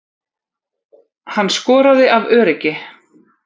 Hann skoraði af öryggi